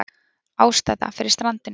Ástæða fyrir strandinu